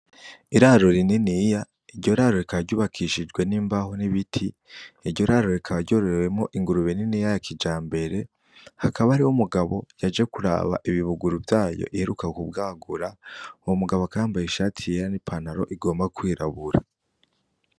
Iraro rininiya iryo raro rikaba ryubakishijwe n'imbaho n'ibiti iryo raro rikaba ryororewemwo ingurube niniya ya kijambere hakaba hari umugabo yaje kuraba ibibuguru vyayo iheruka kubwagura uwo mugabo akaba yambaye ishati yera n'ipantaro igomba kwirabura